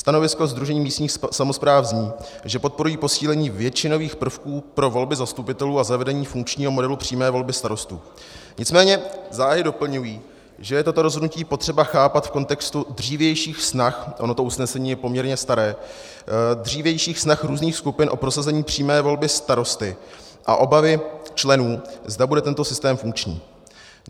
Stanovisko Sdružení místních samospráv zní, že podporují posílení většinových prvků pro volby zastupitelů a zavedení funkčního modelu přímé volby starostů, nicméně záhy doplňují, že je toto rozhodnutí potřeba chápat v kontextu dřívějších snah - ono to usnesení je poměrně staré - dřívějších snah různých skupin o prosazení přímé volby starosty a obavy členů, zda bude tento systém funkční.